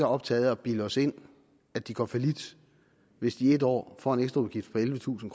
optaget af at bilde os ind at de går fallit hvis de et år får en ekstra udgift på ellevetusind